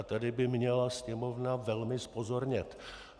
A tady by měla Sněmovna velmi zpozornět.